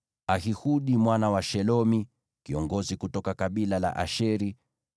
Ahihudi mwana wa Shelomi, kiongozi kutoka kabila la Asheri;